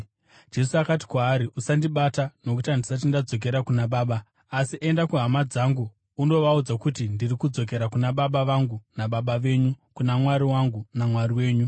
Jesu akati kwaari, “Usandibata, nokuti handisati ndadzokera kuna Baba. Asi enda kuhama dzangu undovaudza kuti, ‘Ndiri kudzokera kuna Baba vangu naBaba venyu, kuna Mwari wangu, naMwari wenyu.’ ”